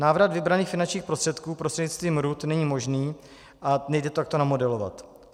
Návrat vybraných finančních prostředků prostřednictvím RUD není možný a nejde to takto namodelovat.